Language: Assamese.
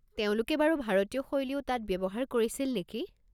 তেওঁলোকে বাৰু ভাৰতীয় শৈলীও তাত ব্যৱহাৰ কৰিছিল নেকি?